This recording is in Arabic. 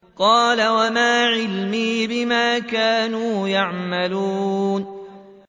قَالَ وَمَا عِلْمِي بِمَا كَانُوا يَعْمَلُونَ